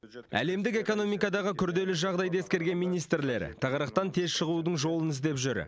әлемдік экономикадағы күрделі жағдайды ескерген министрлер тығырықтан тез шығудың жолын іздеп жүр